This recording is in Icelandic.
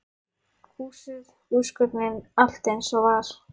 Húsið, húsgögnin, allt eins og var.